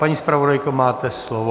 Paní zpravodajko, máte slovo.